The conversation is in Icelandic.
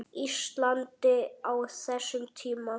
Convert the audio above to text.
Íslandi á þessum tíma.